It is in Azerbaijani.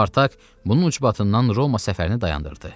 Spartak bunun ucbatından Roma səfərini dayandırdı.